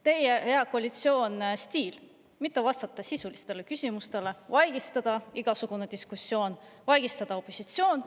See on ju, hea koalitsioon, teie stiil – mitte vastata sisulistele küsimustele, vaigistada igasugune diskussioon, vaigistada opositsioon.